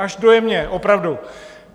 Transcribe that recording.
Až dojemně, opravdu!